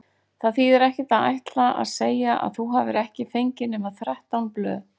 Það þýðir ekkert að ætla að segja að þú hafir ekki fengið nema þrettán blöð.